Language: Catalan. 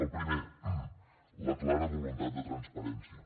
el primer la clara voluntat de transparència